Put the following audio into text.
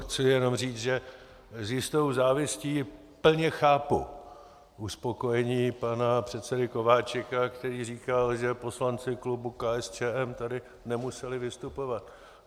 Chci jenom říct, že s jistou závistí plně chápu uspokojení pana předsedy Kováčika, který říkal, že poslanci klubu KSČM tady nemuseli vystupovat.